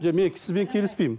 жоқ мен сізбен келіспеймін